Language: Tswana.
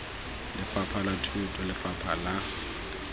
lefapha la thuto lefapha la